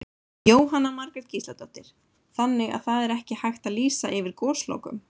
Jóhanna Margrét Gísladóttir: Þannig að það er ekki hægt að lýsa yfir goslokum?